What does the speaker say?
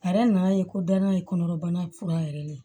A yɛrɛ nana ye ko danna ye kɔnɔbana fura yɛrɛ de ye